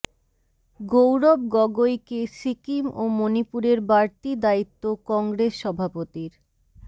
গৌরব গগৈকে সিকিম ও মণিপুরের বাড়তি দায়িত্ব কংগ্ৰেস সভাপতির